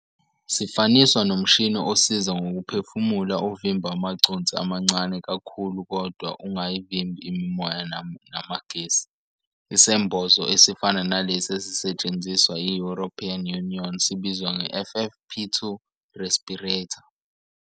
Sifaniswa nomshini osiza ngokuphefumula ovimba amaconsi amancane kakhulu kodwa ungayivimbi imimoya namagesi. Isembozo esifana nalesi esisetshenziswa i-European Union sibizwa nge-FFP2 respirator.